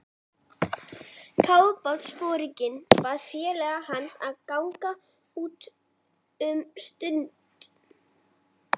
Kafbátsforinginn bað félaga hans að ganga út um stund.